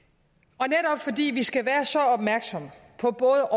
og netop fordi vi skal være så opmærksomme på både